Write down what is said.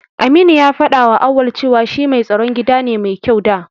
Aminu ya faɗawa Auwal cewa shi mai tsaron gida ne mai kyau da.